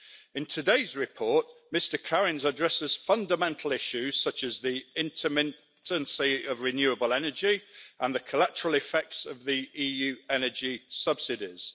In today's report, Mr Kariņš addresses fundamental issues such as the intermittency of renewable energy and the collateral effects of the EU energy subsidies.